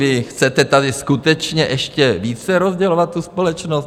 Vy chcete tady skutečně ještě více rozdělovat tu společnost?